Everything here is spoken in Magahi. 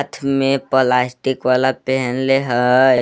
हाथ मे पलास्टिक वाला पेहनले हय।